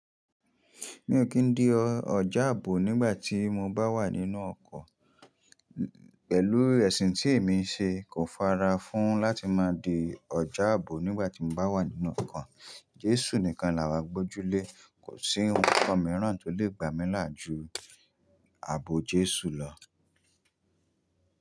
Mi ò kí ń di ọjà ààbò nígbà tí mo bá wà nínú ọkọ̀. Pẹ̀lú ẹ̀sìn tí èmi ń ṣe kò fara fún láti máa di ọjà ààbò nígbà tí mo bá wà nínú ọkọ̀. Jésù nìkan làwa gbójúlé. Kò sí ohun kan mìíràn tó lè gbà mí làjú ààbò Jésù lọ.